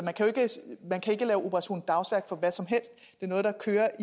man kan ikke lave operation dagsværk for hvad som helst det er noget der kører